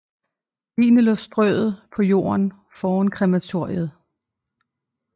Ligene lå strøet på jorden foran krematoriet